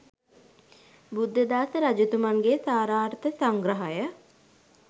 බුද්ධදාස රජතුමන්ගේ සාරාර්ථ සංග්‍රහය